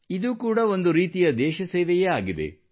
ಇದೂ ಕೂಡ ಒಂದು ರೀತಿಯ ದೇಶಸೇವೆಯೇ ಆಗಿದೆ